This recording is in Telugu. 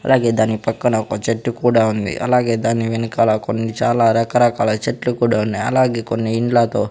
అలాగే దాని పక్కన ఒక చెట్టు కూడా ఉంది అలాగే దాన్ని వెనకాల కొన్ని చాలా రకరకాల చెట్లు కూడా ఉన్నాయి అలాగే కొన్ని ఇండ్లతో --